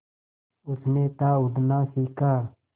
उसने था उड़ना सिखा